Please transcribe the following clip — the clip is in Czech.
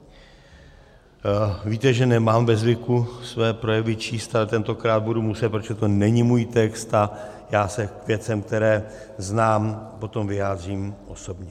Víte, že nemám ve zvyku své projevy číst, ale tentokrát budu muset, protože to není můj text a já se k věcem, které znám, potom vyjádřím osobně.